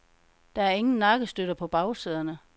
Der er ingen nakkestøtter på bagsæderne.